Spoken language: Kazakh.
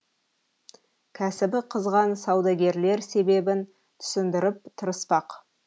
кәсібі қызған саудагерлер себебін түсіндіріп тырыспақ